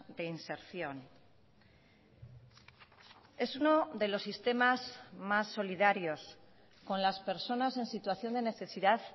de inserción es uno de los sistemas más solidarios con las personas en situación de necesidad